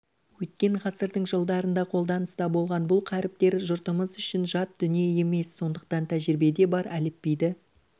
өткен ғасырдың жылдарында қолданыста болған бұл қаріптер жұртымыз үшін жат дүние емес сондықтан тәжірибеде бар әліпбиді